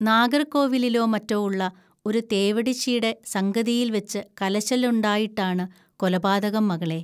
നാഗർകോവിലിലോ മറ്റോ ഉള്ള ഒരുതേവിട്ടിശ്ശീടെ സംഗതിയിൽവച്ച് കലശലുണ്ടായിട്ടാണ് കൊലപാതകം മകളേ